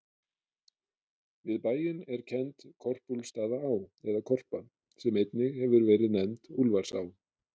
Við bæinn er kennd Korpúlfsstaðaá, eða Korpa, sem einnig hefur verið nefnd Úlfarsá.